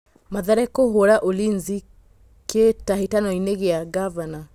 Mathare kũhũra Ulinzi Kĩ hĩ tahĩ tanoinĩ gĩ a Ngavana